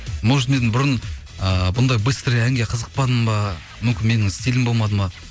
может мен бұрын ыыы бұндай быстрый әнге қызықпадым ба мүмкін менің стилім болмады ма